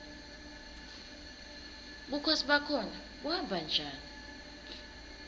bukhosi bakhona buhamba njani